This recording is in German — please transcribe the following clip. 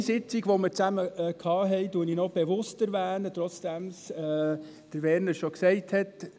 Eine Sitzung, die wir gemeinsam abhielten, erwähne ich noch speziell, auch wenn Werner Moser es bereits gesagt hat.